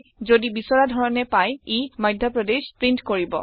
যদি বিচৰা ধৰণে পায় ই মাধ্যা প্ৰদেশ প্ৰীন্ট কৰিব